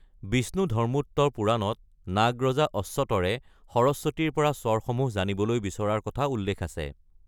বিষ্ণুধৰ্মোত্তৰ পুৰাণত, নাগ ৰজা অশ্বতৰে সৰস্বতীৰ পৰা স্বৰসমূহ জানিবলৈ বিচৰাৰ কথা উল্লেখ আছে।